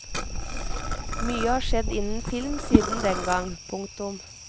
Mye har skjedd innen film siden dengang. punktum